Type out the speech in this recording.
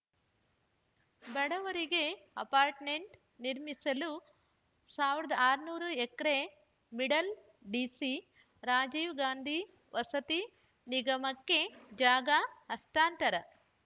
ಬಡವರಿಗೆ ಅಪಾಟ್ರ್ಮೆಂಟ್‌ ನಿರ್ಮಿಸಲು ಸಾವಿರದ ಆರುನೂರು acre middle DC Rajiv Gandhi ವಸತಿ ನಿಗಮಕ್ಕೆ ಜಾಗ ಹಸ್ತಾಂತರ